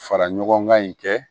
Fara ɲɔgɔn kan in kɛ